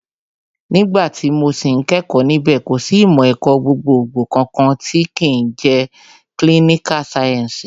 Nígbà tí mo sì ń kẹ́kọ̀ọ́ níbẹ̀, kò sì ìmọ̀ ẹ̀kọ́ gbogbogbò kankan tí ń jẹ́ kílíníkà sáyẹ́ǹsì